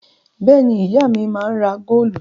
Bẹ́ẹ̀ ni, ìyá mi máa ń ra góólù.